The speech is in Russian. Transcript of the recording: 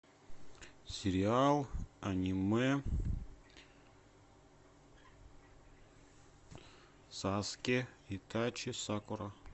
сериал аниме саске итачи сакура